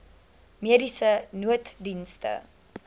mediese nooddienste